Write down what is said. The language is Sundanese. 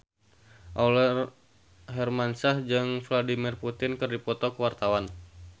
Aurel Hermansyah jeung Vladimir Putin keur dipoto ku wartawan